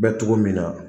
Bɛ cogo min na